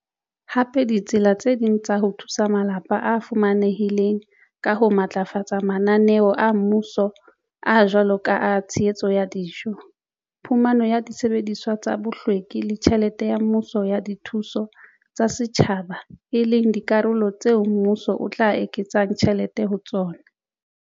Hape ditsela tse ding tsa ho thusa malapa a fumanehileng ka ho matlafatsa mananeo a mmuso a a jwalo ka a tshehetso ya dijo, phumano ya disebediswa tsa bohlweki le tjhelete ya mmuso ya dithuso tsa setjhaba e leng dikarolo tseo mmuso o tla eketsang tjhelete ho tsona.